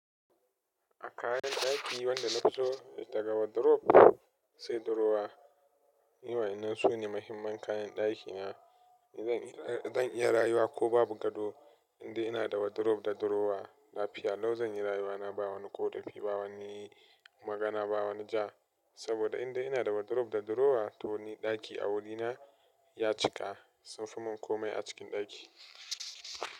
A kayan ɗaki wanda na fiso, daga wardrobe sai drawer, ni wa'innan su ne muhimman kayan ɗakina. Zan iya rayuwa ko babu gado, indai ina da wardrobe da drawer, lafiya lau zan yi rayuwa na ba wani koɗafi, ba wani magana, ba wani ja. Saboda inda ina da wardrobe da drawer, to ni ɗaki a wurina ya cika. Sun fi mun komai a cikin ɗaki.